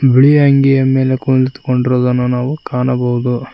ಬಿಳಿ ಅಂಗಿ ಮೇಲೆ ಕುಂತ್ಕೊಂಡಿರುವುದನ್ನು ನಾವು ಕಾಣಬಹುದು.